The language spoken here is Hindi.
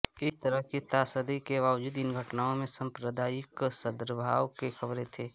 इस तरह की त्रासदी के बावजूद इन घटनाओं में सांप्रदायिक सद्भाव की खबरें थीं